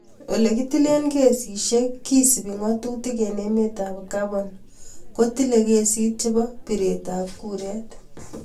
Olekitile kesishek kesupe ngatutik ing emet ab Gabon kotile kesit chebo piret ab kuret.